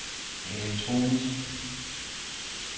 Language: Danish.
elektronisk